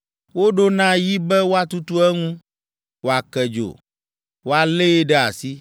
“ ‘Woɖo na yi be woatutu eŋu, woake dzo, woalée ɖe asi,